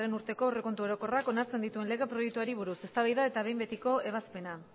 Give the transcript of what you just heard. urteko aurrekontu orokorrak onartzen dituen lege proiektuari buruz eztabaida eta behin betiko ebazpena